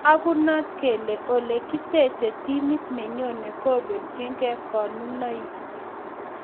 Tagunot kele Ole koteche timit nenyone kobelchinge konunoik